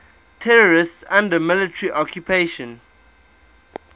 territories under military occupation